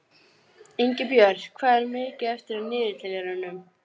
Jórunn, hvernig er veðrið á morgun?